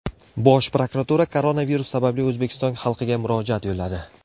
Bosh prokuratura koronavirus sababli O‘zbekiston xalqiga murojaat yo‘lladi .